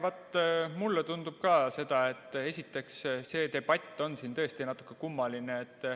Vaat mulle tundub ka, et see debatt on siin tõesti natukene kummaline.